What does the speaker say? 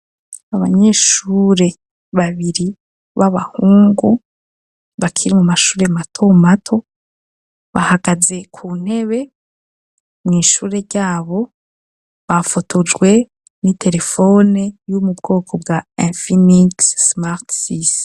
Abanyeshure babiri b'abahungu bakire mu mashure mato mato bahagaze ku ntebe mw'ishure ryabo bafotojwe n'i telefone yu mu bwoko bwa amfinis smartsisi.